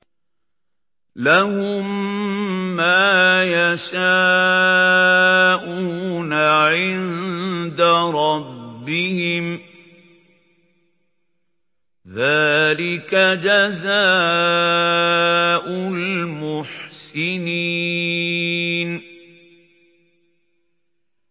لَهُم مَّا يَشَاءُونَ عِندَ رَبِّهِمْ ۚ ذَٰلِكَ جَزَاءُ الْمُحْسِنِينَ